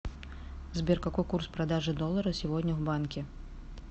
сбер какой курс продажи доллара сегодня в банке